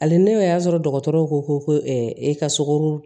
Hali ne y'a sɔrɔ dɔgɔtɔrɔw ko ko e ka sogo